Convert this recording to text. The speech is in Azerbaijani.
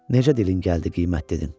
Necə dilin gəldi qiymət dedin?